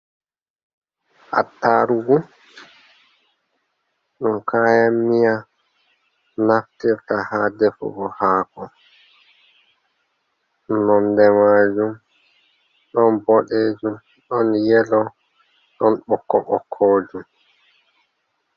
Attarugu ɗum kayan-miya naftirta ha defugo haako. Nonde majum ɗon bodejum, ɗon yelo, ɗon ɓokko-ɓokko ji.